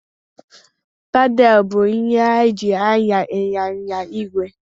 Pedalụ bụ ihe eji anya ịnyịnya igwe.